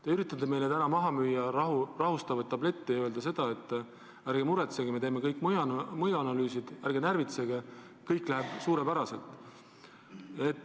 Te üritate meile täna maha müüa rahustavaid tablette ja öelda, et ärge muretsege, me teeme kõik mõjuanalüüsid, ärge närvitsege, kõik läheb suurepäraselt.